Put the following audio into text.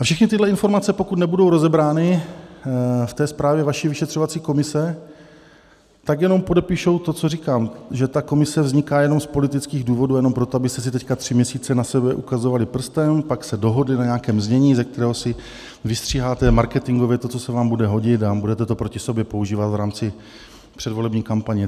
A všechny tyhle informace, pokud nebudou rozebrány v té zprávě vaší vyšetřovací komise, tak jenom podepíšou to, co říkám, že ta komise vzniká jenom z politických důvodů, jenom proto, abyste si teď tři měsíce na sebe ukazovali prstem, pak se dohodli na nějakém znění, ze kterého si vystříháte marketingově to, co se vám bude hodit, a budete to proti sobě používat v rámci předvolební kampaně.